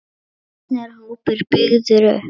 Hvernig er hópurinn byggður upp?